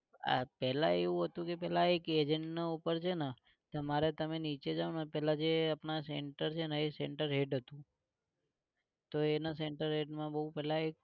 આ પેલા એવું હતું કે પેલા એક agent ના ઉપર છે ને તમારે તમે નીચે જાઓ ને પેલા જે અપના center છે ને એ center head હતું તો એને center head માં બહુ પેલા